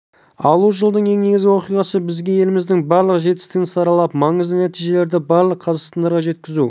алу жылдың ең негізгі оқиғасы бізге еліміздің барлық жетістігін саралап маңызды нәтижелерді барлық қазақстандықтарға жеткізу